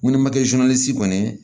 Mun ni kɛ kɔni